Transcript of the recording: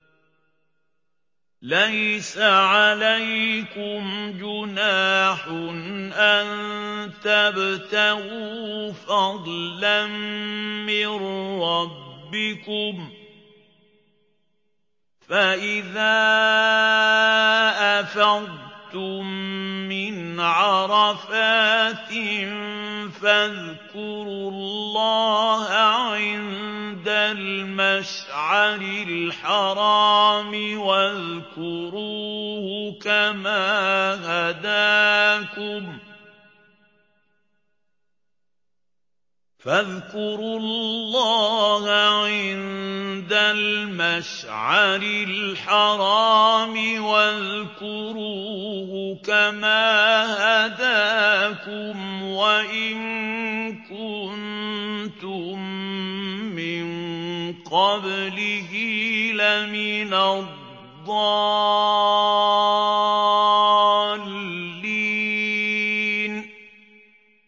لَيْسَ عَلَيْكُمْ جُنَاحٌ أَن تَبْتَغُوا فَضْلًا مِّن رَّبِّكُمْ ۚ فَإِذَا أَفَضْتُم مِّنْ عَرَفَاتٍ فَاذْكُرُوا اللَّهَ عِندَ الْمَشْعَرِ الْحَرَامِ ۖ وَاذْكُرُوهُ كَمَا هَدَاكُمْ وَإِن كُنتُم مِّن قَبْلِهِ لَمِنَ الضَّالِّينَ